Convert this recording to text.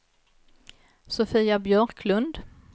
Sofia Björklund